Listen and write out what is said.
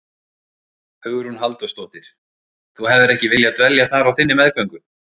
Hugrún Halldórsdóttir: Þú hefðir ekki viljað dvelja þar á þinni meðgöngu?